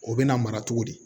O bɛ na mara cogo di